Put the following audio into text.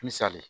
Misali